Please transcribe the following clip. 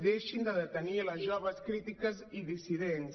deixin de detenir les joves crítiques i dissidents